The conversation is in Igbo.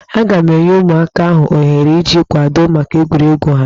Aga m enye ụmụaka ahụ ohere iji kwadoo maka egwuregwu ha.